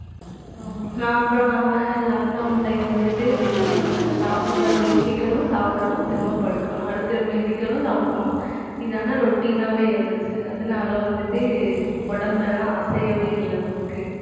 அப்புறம் நம்ம lockdown time வந்துட்டு full ஆ வீட்டில சாப்பிடுறது எந்திரிக்கணும் சாப்பிடணும் திரும்ப படுக்கணும் அடுத்து நாம எந்திரிக்கணும் சாப்பிடணும் இதான routine ஆவே இருந்துச்சு. அதனால வந்துட்டு உடம்பெல்லாம் அசையவே இல்லை நமக்கு